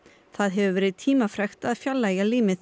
það hefur verið tímafrekt að fjarlægja límið